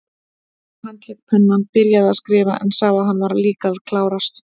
Ég handlék pennann, byrjaði að skrifa, en sá að hann var líka að klárast.